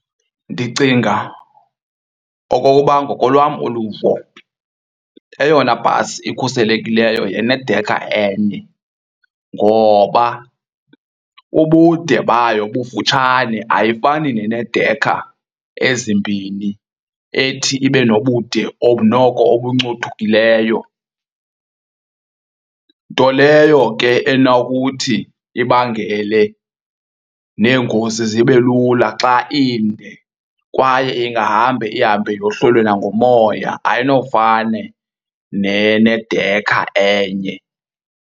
Ndicinga okokuba ngokolwam uluvo, eyona bhasi ikhuselekileyo yenedekha enye ngoba ubude bayo bufutshane ayifani neneedekha ezimbini ethi ibe nobude noko obuncothukileyo. Nto leyo ke enokuthi ibangele neengozi zibe lula xa inde kwaye ingahambe ihambe yohlulwe nangumoya ayinofane nenedekha enye.